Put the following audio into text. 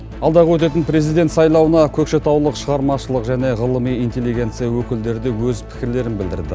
алдағы өтетін президент сайлауына көкшетаулық шығармашылық және ғылыми интелегенция өкілдері де өз пікірлерін білдірді